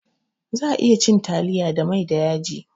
Za'a iya cin taliya da mai da yaji